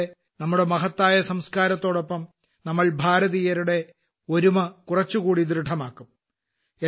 ഇതിലൂടെ നമ്മുടെ മഹത്തായ സംസ്ക്കാരത്തോടൊപ്പം നമ്മൾ ഭാരതീയരുടെ ഒരുമ കുറച്ചുകൂടി ദൃഢമാകും